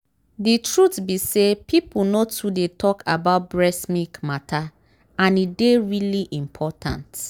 the truth be say people nor too dey talk about breast milk matter and e dey really important.